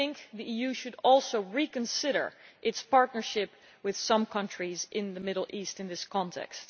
The EU should also reconsider its partnerships with some countries in the Middle East in this context.